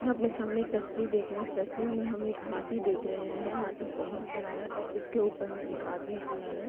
अपने सामने एक तस्वीर देख रहे हैं। इस तस्वीर में हम एक हाथी देख रहे हैं। हाथी बोहत बड़ा है और उसके ऊपर में एक आदमी खड़ा है।